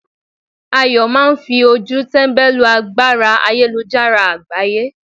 Ayo máà ń fi ojú tẹ́mbẹ́lú agbára ayélujára àgbáyé.